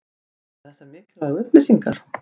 Voru þetta þessar mikilvægu upplýsingar?